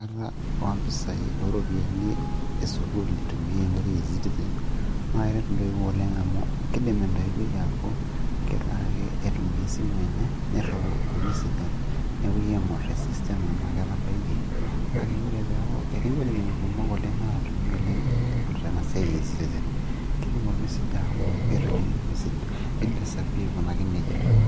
oompisai esukuul itumiyae enkoitoi e ecitizen .naa keret intoiwuo oleng amu kidim entowuoi aaku kelaaki aitumia esimu enye, niriwaa ormesej, nepuoi aing'uraa te system enaa ketabayie, neeku tii igolikinot kumok naatumi oleng' eipirta ena siai e ecitizen.